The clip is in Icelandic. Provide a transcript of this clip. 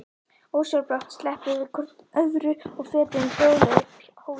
Ósjálfrátt slepptum við hvort öðru og fetuðum hljóðlega upp hólinn.